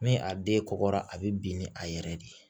Ni a den kɔgɔra a bɛ bin ni a yɛrɛ de ye